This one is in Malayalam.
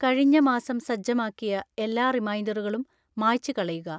കഴിഞ്ഞ മാസം സജ്ജമാക്കിയ എല്ലാ റിമൈൻഡറുകളും മായ്ച്ചുകളയുക